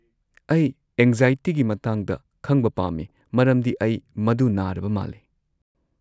ꯑꯩ ꯑꯦꯡꯖꯥꯏꯇꯤꯒꯤ ꯃꯇꯥꯡꯗ ꯈꯪꯕ ꯄꯥꯝꯃꯤ ꯃꯔꯝꯗꯤ ꯑꯩ ꯃꯗꯨ ꯅꯥꯔꯕ ꯃꯥꯜꯂꯦ꯫